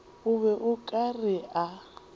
be o ka re a